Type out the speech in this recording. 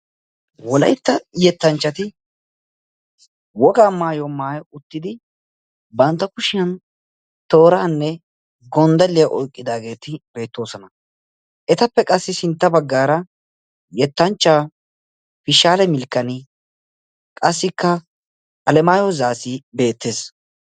Wolaytta yettanchchati wogaa maayuwaa maayi uttidi bantta kushiyaan tooranne gonddaliyaa oyqqidaageti beettoosona. etappe qassi sintta baggaara yetanchchaa fishshale milkkani qassikka alemaayo zaassi beettees.